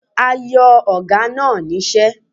A yo Oga na nise